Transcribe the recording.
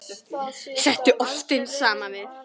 Settu ostinn saman við.